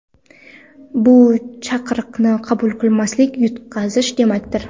Bu chaqiriqni qabul qilmaslik – yutqazish demakdir!